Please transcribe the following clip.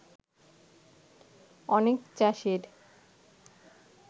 অনেক চাষীর